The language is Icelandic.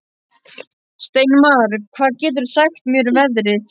Steinmar, hvað geturðu sagt mér um veðrið?